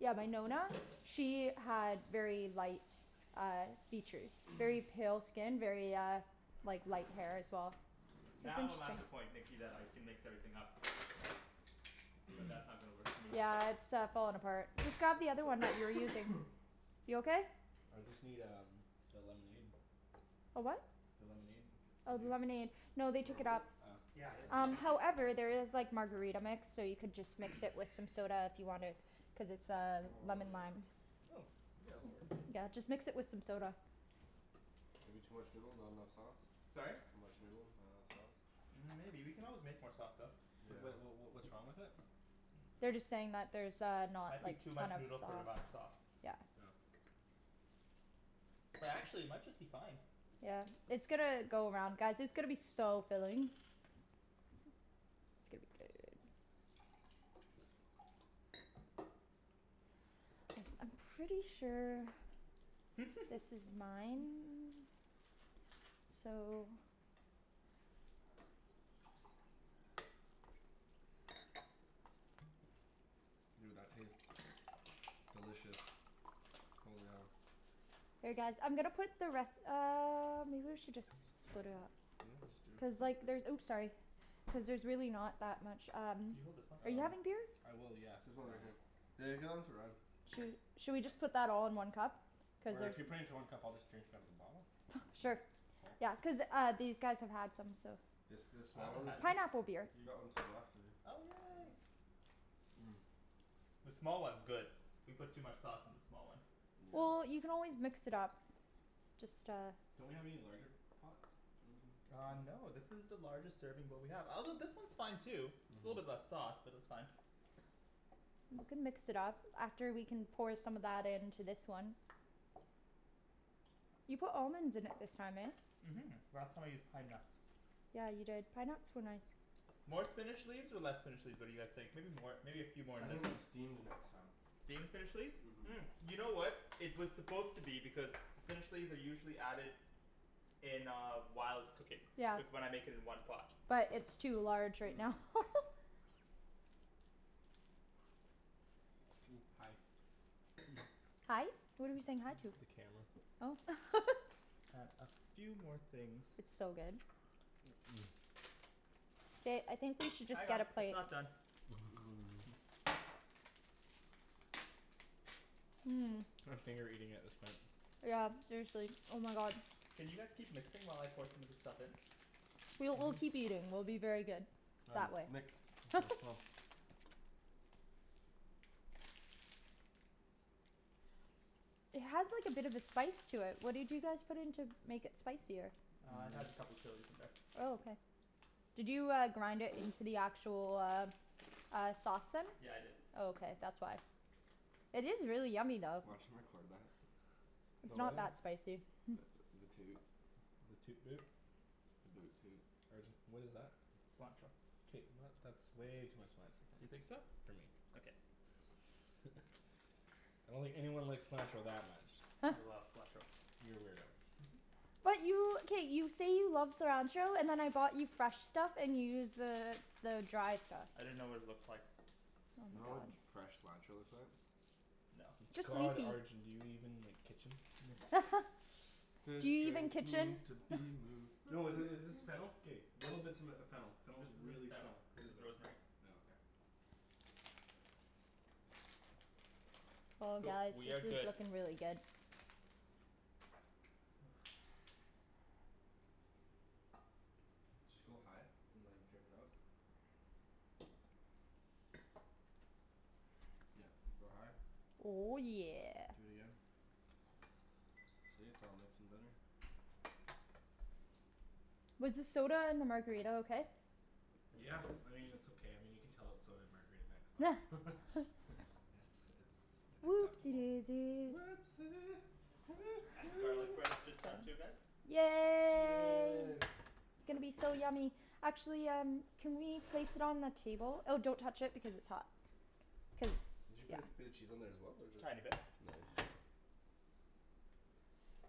Yeah, my Nonna, she had very light uh features very pale skin, very uh like light hair as well. Now I'm at the point Nikki that I can mix everything up. But that's not gonna work for me. Yeah it's uh falling apart. Just grab the other one that you were using. You okay? I just need um the lemonade. A what? The lemonade? If it's still Oh, the here? lemonade. No Want they me to took it hold it? up. Oh. Yeah, yes please, Um thank you. however there is like margarita mix, so you could just mix it with some soda if you wanted. Cuz it's uh Oh lemon yeah. lime. Hmm. Yeah, that works. Yeah, just mix it with some soda. Maybe too much noodle, not enough sauce? Sorry? Too much noodle, not enough sauce. Mm maybe, we can always make more sauce though. Yeah. Wait what what what what's wrong with it? They're just saying that there's uh I not like think too much kind of noodle for the amount of sau- sauce. Yeah. Oh. But actually it might just be fine. Yeah. It's gonna go around, guys, it's gonna be so filling. It's gonna be good. I'm pretty sure this is mine. So. Dude, that tastes delicious. Holy hell. Here guys, I'm gonna put the res- um or maybe I should just split it up. Yeah, let's do. Cuz like there's, oops sorry. Cuz there's really not that much um Can you hold this one Are please? you Um having beer? I will, yes, There's um one right here. They're going to run. Cheers. Shall we just put that all in one cup? Cuz Or if if you put it into one cup I'll just drink it out of the bottle. Sure. Oh. Yeah. Cuz uh these guys have had some, so It's this I small haven't one? It's had any. pineapple beer. He got one too, after you. Oh yay. Mmm. The small one's good. We put too much sauce in the small one. Well, Yeah. you can always mix it up. Just uh Don't we have any larger pots? Uh no this is the largest serving bowl we have. Although this one's fine too. Just a little bit Mhm. less sauce, but that's fine. You can mix it up. After we can pour some of that into this one. You put almonds in it this time, eh? Mhm. Last time I used pine nuts. Yeah you did. Pine nuts were nice. More spinach leaves or less spinach leaves, what do you guys think? Maybe more. Maybe a few more I in this think one steamed next time. Steam the spinach leaves? Mhm Mm, you know what It was supposed to be, because spinach leaves are usually added in uh whilst cooking. Yeah. With what I'm making in one pot. But it's too large right now. Mmm. Hi. Hi? What are we saying hi to? The camera. Oh. And a few more things. It's so good. Ba- I think we should just get a it's plate. not done. Mmm. Mmm. I'm finger eating at this point. Yeah seriously, oh my god. Can you guys keep mixing while I pour some of this stuff in? We'll, we'll keep eating. We'll be very good. That Found way. you. Nikks? It has like a bit of a spice to it, what did you guys put in to make it spicier? Uh it has a couple chilis in there. Oh okay. Did you uh grind it into the actual, uh uh sauce then? Yeah I did. Oh okay, that's why. It is really yummy though. Watch 'em record that. It's About not what? that spicy. The the toot. The toot boot? The boot toot. Arjan what is that? Cilantro. K not, that's way too much cilantro. You think so? For me. Okay. I don't think anyone likes cilantro that much. I love cilantro. You're a weirdo. But you, k, you say you love cilantro, and then I bought you fresh stuff and you use the the dry stuff. I didn't know what it looked like. Oh You know my what god. fresh cilantro looks like? No. Just God Arjan, do you even like, kitchen? This Do you even drink kitchen? needs to be moved. No i- is this fennel? K little bits of m- fennel. Fennel This is isn't really fennel. strong. This is rosemary. Oh okay. Oh Cool. guys, We this have is good looking really good. Just go high and like drip it up. Yep. Like, go high. Oh yeah. Do it again. See, it's all mixed and better. Was the soda and the margarita okay? Yeah, I mean it's okay. I mean you can tell it's soda and margarita mix, but. It's it's it's Whoopsie acceptable. daisies. Whoopsie, hoo And the garlic hoo. bread is just done too guys. Yay. Yay. It's gonna be so yummy. Actually um can we place it on the table? Oh don't touch it because it's hot. Cuz, Did you put yeah. a bit of cheese on there as well or is it just Tiny bit. Nice.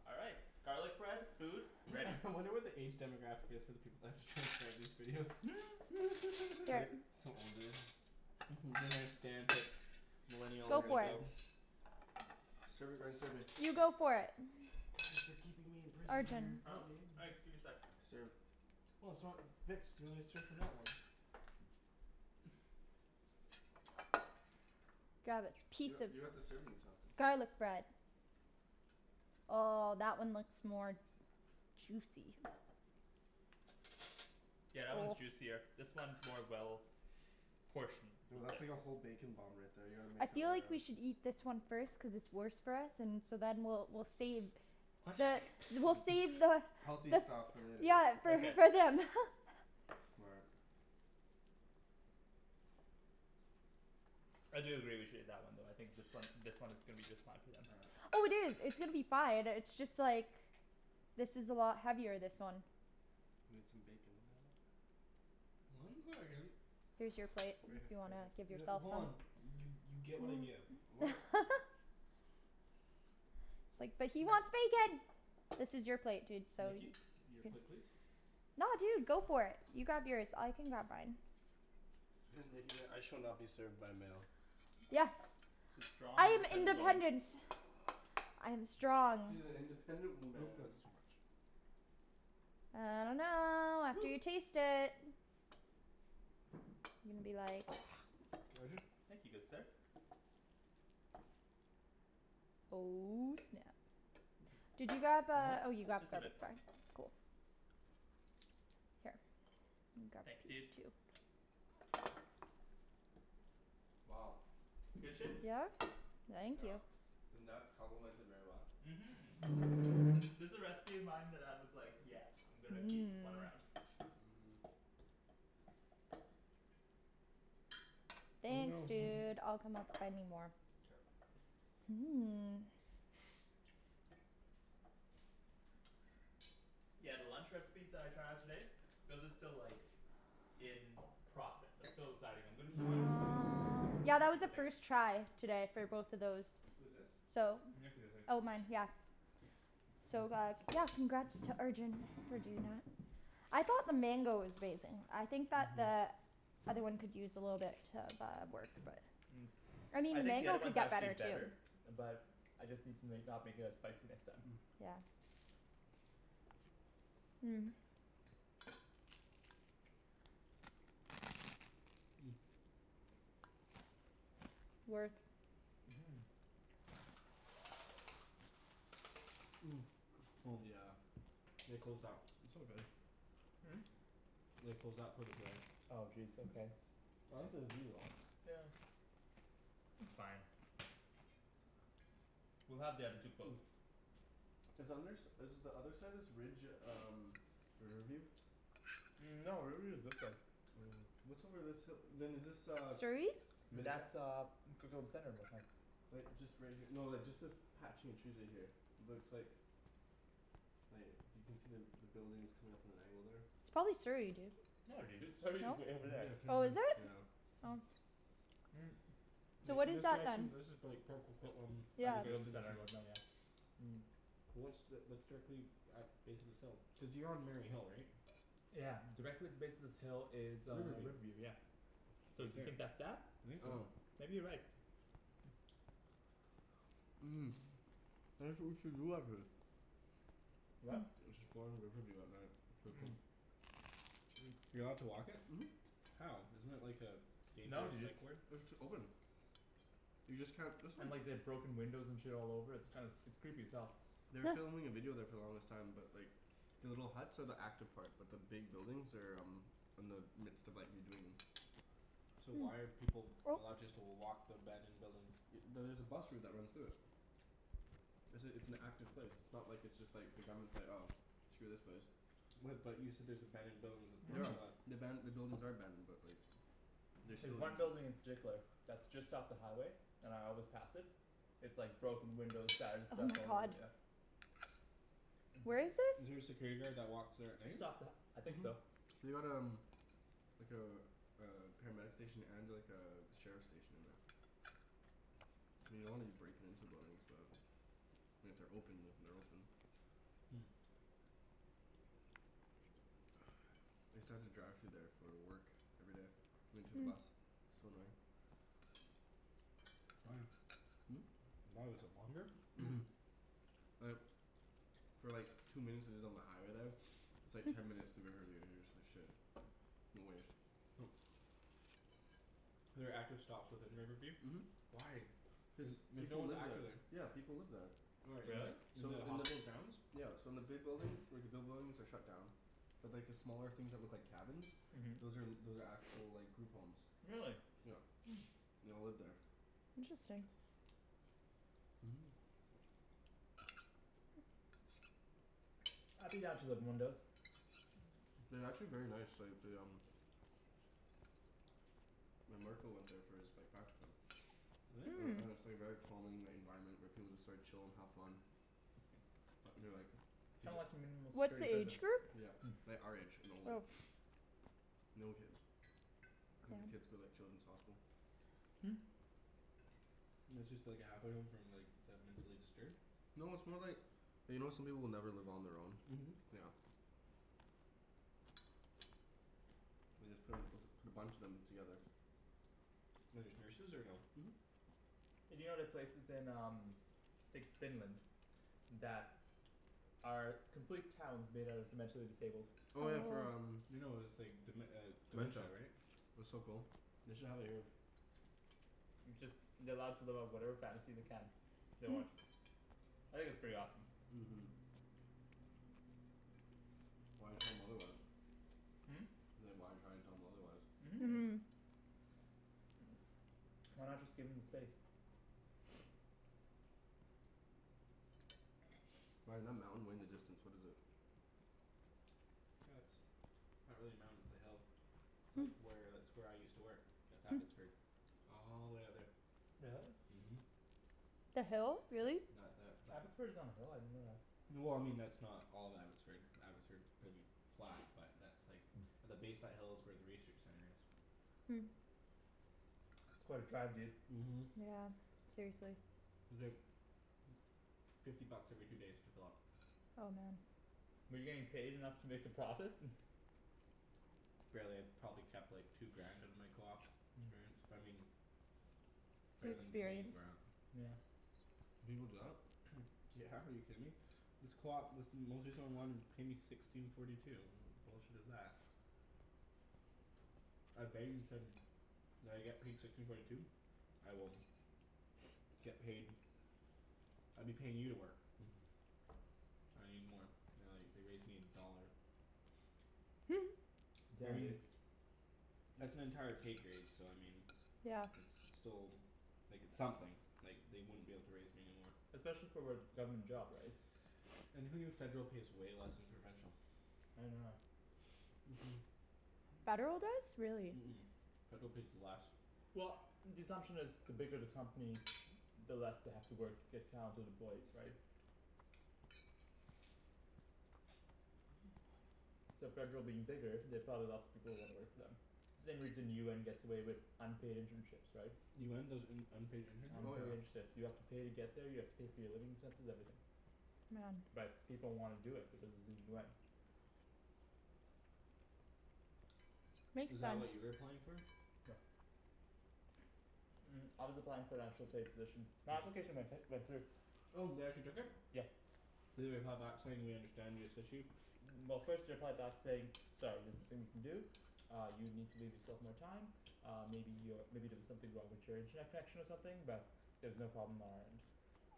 All right. Garlic bread, food, ready. I wonder what the age demographic is for the people that have to transcribe these videos. Here. some old dude. Mhm. Don't understand it. Millennial Go for it. lingo. Serve it Ryan, serve me. You go for it. Thanks for keeping me in prison Arjan. dear. Huh? Thanks, give me sec. Serve. Well it's not mixed, you wanna serve from that one. Grab a You piece got of you got the serving utensils. garlic bread. Oh that one looks more juicy. Yeah, that one's juicier. This one's more well portioned. Yo that's like a whole bacon bomb right there, you gotta mix I that feel one like up. we should eat this one first cuz it's worse for us, and so then we'll we'll save the, we'll save the Healthy But stuff for later. Yeah for, Okay. for them. Smart. I do agree with you on that one though, I think this one this one is gonna be just fine for them. All right. Oh dude, it's gonna be fine, it's just like this is a lot heavier, this one. Need some bacon with that. Mine's very good. Here's your plate, Right if here, you right wanna here. give yourself hold some. on, you you get what I give. What It's like, but he wants bacon. This is your plate dude, so y- Nikki? Your plate please. No dude, go for it. You grab yours. I can grab mine. Nikki's like "I shall not be served by a male." Yes. She's strong I am independent woman. independent. I am strong. She's an independent I think that's woman. too much. I dunno, after Woo. you taste it. Gonna be like Arjan? Thank you, good sir. Oh snap! Did you grab uh, More? oh you grabbed Just the a other bit more. part. Here. Thanks dude. Wow. Good shit? Yeah. Thank you. The nuts complement it very well. Mhm. This a recipe of mine that I was like, yeah I'm gonna keep this one around. Mhm. Thanks No. dude, I'll come up if I need more. Mmm. Yeah, the lunch recipes that I tried out today those are still like in process. I'm still deciding. I'm gonna Whose keep wine is this? Yeah that was Nikki's a a big first try today for both of those. Who's this? So Nikki I think. Oh mine, yeah. So uh, yeah, congrats to Arjan for doing that. I thought the mango was amazing. I think that the other one could use a little bit uh of work but Mm. I I mean think the other mango could one's get actually better better. too. But I just need to make, not make it as spicy next time. Yeah. Mmm. Work. Mhm. Mmm. Yeah. They closed that. It's all good. Hmm? They closed that for the glare. Oh jeez, okay. I like the view though. Yeah. It's fine. We'll have the other two close. Is under s- is the other side of this ridge um Riverview? Mm no, Riverview is this way. Oh. What's over this hi- then is this uh Surrey? That's uh Coquitlam Center it looked like. Like just right here, no just like this patch in trees right here. Looks like like you can see the buildings coming up at an angle there. It's probably Surrey, dude. No dude, Surrey's No? way over there. Yeah, Surrey's Oh, at, is it? yeah. Oh. Mm So Like what in is this that then? this is prolly like Port Coquitlam in Yeah the just distance and Mm. What's the, that's directly at base of this hill? Cuz you're on Mary Hill right? Yeah. Directly at the base of this hill is uh Riverview. Riverview, yeah. So do you think that's that? I think so. Maybe you're right. What? Riverview at night. Mm. You allowed to walk it? Mhm. How? Isn't it like a No dangerous dude. psych ward? It's open. You just can't, that's not And like they've broken windows and shit all over, it's kind of, it's creepy as hell. They were filming a video there for the longest time, but like The little huts are the active part, but the big buildings are um in the midst of like redoing 'em. So why are people allowed just to walk the abandoned buildings? Y- there's a bus route that runs through it. It's a it's an active place. It's not like it's just like, the government's like "Oh, screw this place." What but you said there's abandoned buildings with Mhm. The aban- the buildings are abandoned but like they There's still one building in particular that's just off the highway and I always pass it. It's like broken windows, shattered Oh stuff my all over, god. yeah. Where is Is this? there a security guard that walks there at night? Just off the, I think so. They got um like a a paramedic station and like a sheriff station in there. I mean you don't wanna be breaking into buildings but I mean if they're open, if they're open. Hmm. I used to have to drive through there for uh work. Every day. Into the bus. So annoying. Why? Hmm? Why, was it longer? Mhm. Like For like two minutes is is on the highway there. It's like ten minutes through Riverview, and you're just like "Shit." There are active stops within Riverview? Mhm. Why? Cuz Like no people one's live there. active there. Yeah people live there. Where, Really? in the in So the in the hospital grounds? Yeah so in the big buildings, like the big buildings are shut down. But like the smaller things that look like cabins Mhm. those are those are actual like group homes. Really? Yeah. They all live there. Interesting. Mhm. I'd be down to living in one of those. Mm. They're actually very nice, like they um My marker went there for his like practicum. Really? And Hmm. and it's like very calming, the environment, where people like chill and have fun. Uh they're like Kind of like a minimal What's security the prison. age group? Yeah. Like our age and older. Oh. No kids. I think the kids go like Children's Hospital. Hmm. It's just like a halfway home from like the mentally disturbed? No, it's more like you know how some people will never live on their own? Mhm. Yeah. They just put a p- put a bunch of them together. And there's nurses or no? Mhm. Hey do you know the places in um like Finland that are complete towns made out of the mentally disabled. Oh yeah for um, No no it's like dem- uh dementia dementia. right? That's so cool. They should have it here. It's just they're allowed to live out whatever fantasy they can. They want. I think that's pretty awesome. Mhm. Why tell 'em otherwise? Hmm? Like why try to tell them otherwise? Mhm. Mmm. Why not just give them the space? Ryan, that mountain way in the distance, what is it? That's not really a mountain, it's a hill. It's like where, that's where I used to work. That's Abbotsford. All the way out there. Really? Mhm. The hill? Really? That that Abbotsford is on a hill? I didn't know that. Well I mean that's not all of Abbotsford, Abbotsford's pretty flat, but that's like the base of that hill is where the research center is. Hmm. That's quite a drive dude. Mhm. Yeah, seriously. It's like fifty bucks every two days to fill up. Oh man. Were you getting paid enough to make a profit? Barely. Probably kept like two grand out of my coop experience, but I mean It's better than paying experience. for it. Yeah. People do that? Yeah, are you kidding me? This coop, this paid me sixteen forty two. What bullshit is that? said "Will I get paid sixteen forty two?" "I will" "get paid." "I'd be paying you to work." "I need more." They're like, they raised me a dollar. I Yeah mean dude. that's an entire pay grade, so I mean Yeah. it's, it's still like, it's something. Like, they wouldn't be able to raise me anymore. Especially for what, government job right? And who knew federal pays way less than provincial? I didn't know that. Mhm. Mmm. Federal does? Really. Mhm. Federal pays less. Well the assumption is the bigger the company the less they have to work to get counted employees right? So federal being bigger, they have probably lots of people who wanna work for them. Same reason UN gets away with unpaid internships, right? UN does un- unpaid Oh yeah. internships? Unpaid internships, you have to pay to get there, you have to pay for your living expenses, everything. Yeah. But people wanna do it because it's the UN. Is Makes that what you sense. were applying for? No. Mm I was applying for an actual paid position. My application went hi- went through. Oh, they actually took it? Yeah. Did they reply back saying "We understand this issue?" Well first they replied back to say "Sorry there's nothing we can do." "Uh you need to leave yourself more time." "Uh maybe you're, maybe there was something wrong with your internet connection or something, but" "there's no problem on our end."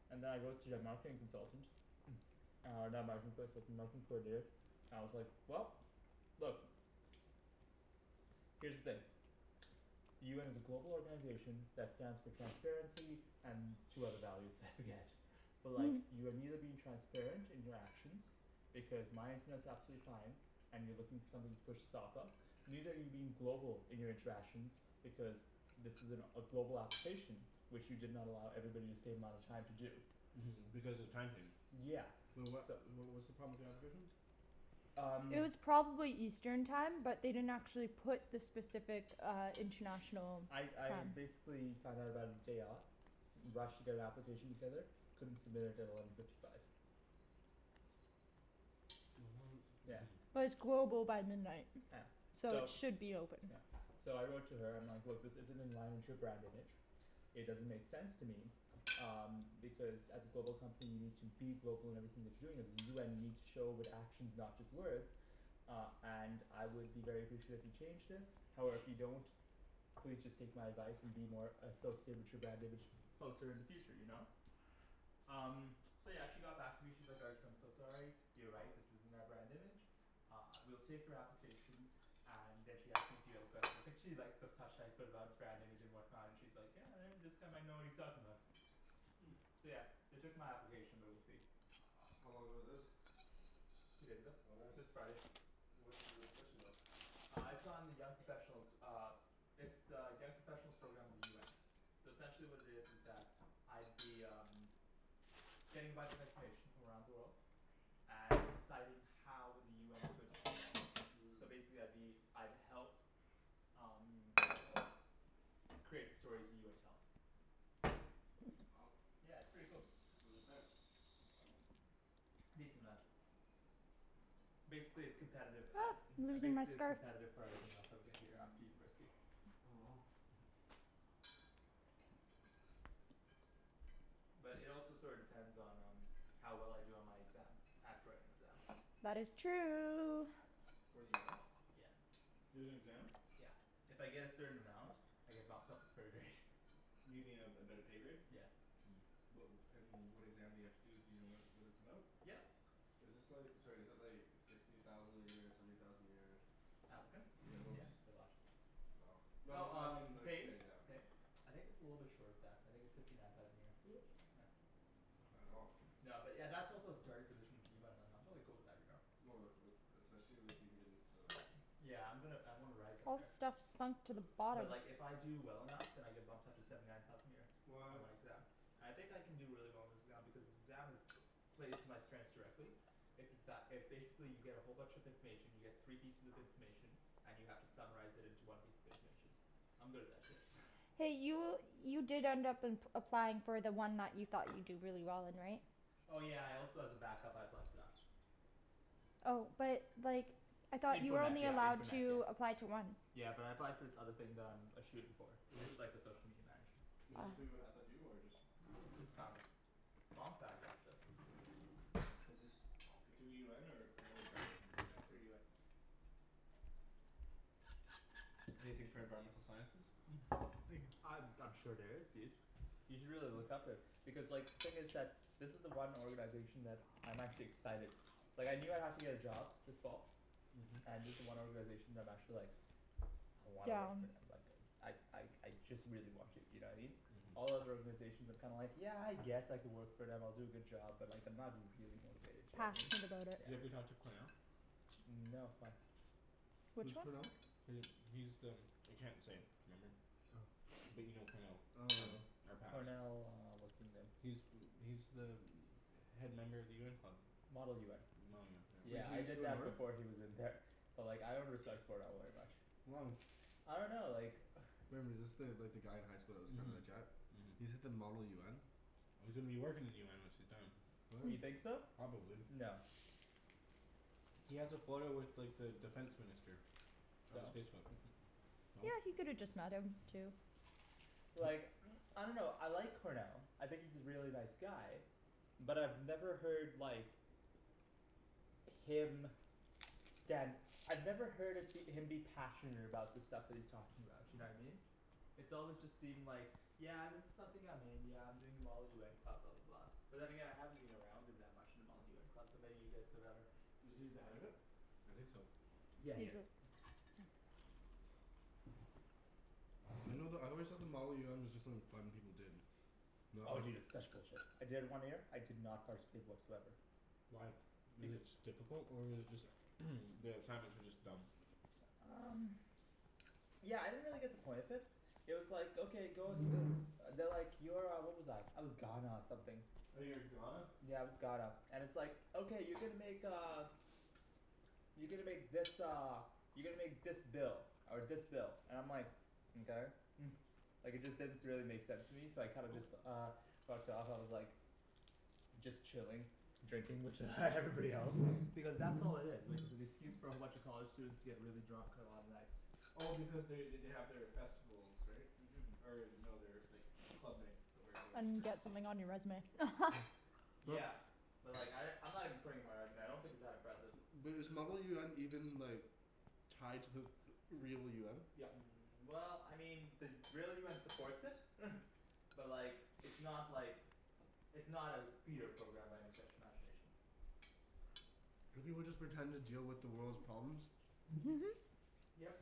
And then I wrote to their marketing consultant. Uh and with the marketing coordinator. And I was like, "Well, look." "Here's the thing." "The UN is a global organization that stands for transparency and two other values, I forget." "But like, you are neither being transparent in your actions, because my internet's absolutely fine." "And you're looking for something to push this off of." "Neither are you being global in your interactions, because this is an a global application" "which you did not allow everybody the same amount of time to do." Mhm, because the time changed. Yeah. Wait what, So wh- what's the problem with the application? Um It was probably eastern time, but they didn't actually put the specific uh international I time. I basically found out about it day of. Rushed to get an application together. Couldn't submit it at eleven fifty five. Yeah. Mhm. But it's global by midnight. Yeah. So it So should be open. Yeah. So I wrote to her, I'm like "Look, this isn't in line with your brand image." "It doesn't make sense to me." "Um because as a global company, you need to be global in everything that you're doing. As the UN you need show it with actions, not just words." "Uh and I would be very appreciate if you changed this." "However if you don't, please just take my advice and be more associated with your brand image closer in the future, you know? Um So yeah, she got back to me, she's like "Arjan, I'm so sorry." You're right, this isn't our brand image. Uh, we'll take your application. And then she asked me a few other questions. I think she liked the touch that I put about brand image and whatnot. And she's like "Yeah, uh this guy might know what he's talking about." Hmm. So yeah. They took my application but we'll see. How long ago was this? Two days ago. Oh nice. This Friday. What's the position though? Uh it's on the young professionals uh It's the young professionals program of the UN. So essentially what it is is that I'd be um getting a bunch of information from around the world. And deciding how with the UN is going to spin that. Mmm. So basically I'd be, I'd help um create the stories the UN tells. Wow. Yeah, it's pretty cool. What does it pay? A decent amount. Basically it's competitive, a- You're um gonna see my basically it's scarf. competitive for everything else I would get here after university. Oh. But it also sorta depends on um how well I do on my exam. I have to write an exam. That is true. For the UN? Yeah. There's an exam? Yeah. If I get a certain amount I get bumped up a pro grade. You mean a a better pay grade? Yeah. Mmm. What and what exam do you have to do, do you know what what it's about? Yep. Is this like, sorry is it like sixty thousand a year, seventy thousand a year? Applicants? Yeah, no Yeah, just they're a lot. Wow. No I Well mean, I mean um, like pay? pay, yeah. I think it's a little bit short of that. I think it's fifty nine thousand a year. Yeah. Not bad at all. No but yeah, that's also a starting position of UN, like I'm totally cool with that, you know. Oh like uh especially if you get in to like Yeah I'm gonna I wanna rise up All there. this stuff sunk to the But bottom. like if I do well enough then I get bumped up to seventy nine thousand a year. On What my exam. I think I can do really well on this exam because this exam is plays to my strengths directly. It's it's that, it's basically you get a whole bunch of information, you get three pieces of information and you have to summarize it into one piece of information. I'm good at that shit. Hey, you you did end up applying for the one that you thought you'd do really well in, right? Oh yeah I also as a backup I applied for that. Oh but like I thought you Info were net only yeah, info allowed net yeah. to apply to one. Yeah but I applied for this other thing that I'm a shoo in for. It's like the social media manager. Is this Ah. through SFU or just Just found it. Mom found it actually. Is this through UN or another job agency that Through was UN. Anything for environmental sciences? Mhm. Thank you. Uh I'm sure there is dude. You should really look up it. Because like, thing is that this is the one organization that, I'm actually excited. Like I knew I'd have to get a job this fall. Mhm. And this is the one organization that I'm actually like I wanna work Down. for and I'd like I like I just really want to, you know what I mean? All Mhm. other organizations I'm kinda like, yeah I guess I could work for them, I'll do a good job, but like I'm not really motivated, you know what I mean? Passionate about it. Do you ever talk to Cornell? Mm no, why? Which Who's one? Cornell? He, he's the I can't say. Remember? Oh. But you know Cornell. Oh no. Our patch. Cornell uh what's his name. He's He's the head member of the UN club. Model UN. Model UN, yeah. Wait, Yeah did he I used to did go that north? before he was in there. But like I don't understand Cornell very much. Why? I dunno like Remember, is this the, like the guy in high school that was kind of a Mhm. jet? He's at the model UN? Well, he's gonna be working in the UN once he's done. What? You think so? Probably. No. He has a photo with like the defense minister. On his So? Facebook. Yeah, he could have just met him too. But like I dunno, I like Cornell. I think he's a really nice guy. But I've never heard like him stand I've never heard of him be passionate about the stuff that he's talking about, you know what I mean? It's always just seemed like "Yeah this is something I'm in, yeah I'm doing the model UN club," blah blah blah. But then again I haven't been around him that much in the Model UN club, so maybe you guys know better. Was he the head of it? I think so. Yeah he is. I know the, I always thought the model UN was just like fun people did. No? Oh dude, it's such bullshit. I did it one year, I did not participate whatsoever. Why? Was it beca- just difficult or was it just the assignments were just dumb? Um Yeah, I didn't really get the point of it. It was like okay, go s- They're like, you're uh, what was I, I was Ghana something. Oh, you were Ghana? Yeah, I was Ghana. And it's like "Okay you're gonna make uh" You're gonna make this uh you're gonna make this bill." Or this bill. And I'm like "Mkay." Like it just didn't s- really make sense to me, so I kinda just uh fucked off, I was like just chilling. Drinking with everybody else. Because that's all it is. Like it's an excuse for a bunch of college students to get really drunk on a lot of nights. Well because they they they have their festivals, right? Mhm. Or no their like club nights, where everyone just And drinks. get something on your resume. But Yeah. But like I, I'm not even putting it on my resume. I don't think it's that impressive. But is model UN even like tied to the real UN? Yep. Mm well, I mean, the real UN supports it. But like it's not like it's not a feeder program by any stretch of imagination. Do people just pretend to deal with the world's problems? Yep.